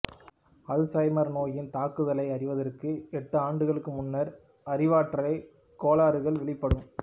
Alzheimer நோயின் தாக்குதலை அறிவதற்கு எட்டு ஆண்டுகளுக்கு முன்னர் அறிவாற்றல் கோளாறுகள் வெளிப்படும்